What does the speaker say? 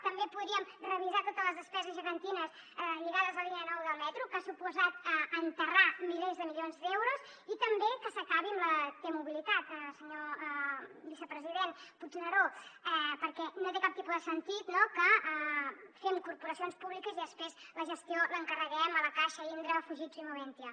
també podríem revisar totes les despeses gegantines lligades a la línia nou del metro que ha suposat enterrar milers de milions d’euros i també que s’acabi amb la t mobilitat senyor vicepresident puigneró perquè no té cap tipus de sentit que fem corporacions públiques i després la gestió l’encarreguem a la caixa indra fujitsu i moventia